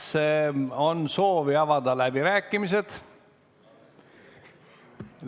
Kas on soovi avada läbirääkimisi?